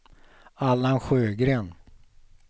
Allan Sjögren